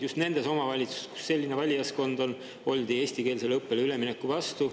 Just nendes omavalitsustes, kus selline valijaskond on, oldi eestikeelsele õppele ülemineku vastu.